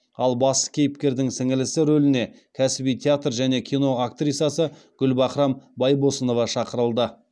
ал басты кейіпкердің сіңлісі рөліне кәсіби театр және кино актрисасы гүлбахрам байбосынова шақырылды